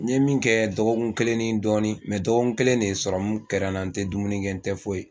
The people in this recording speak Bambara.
N ye min kɛ dɔgɔkun kelen ni dɔɔni mɛ dɔgɔkun kelen de serɔmu kɛra n na, n tɛ dumuni kɛ n tɛ foyi